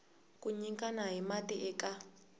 ku nyikana hi mati eka